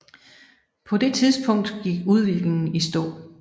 På det tidspunkt gik udviklingen i stå